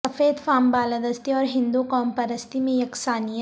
سفید فام بالادستی اور ہندو قوم پرستی میں یکسانیت